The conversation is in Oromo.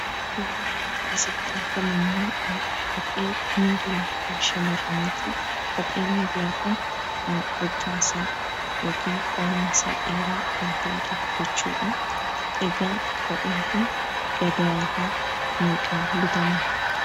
Suuraan asitti argamu ammo kophee miillaa kan shamarraniitii. Kopheen miilla kun hojjaan isaa yookan koomeen isaa dheeraa kan ta'edha jechuudha. Egaa kopheen kun gabaarraa meeqaan bitama?